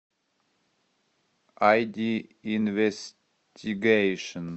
ай ди инвестигейшн